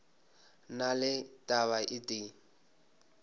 na le taba e tee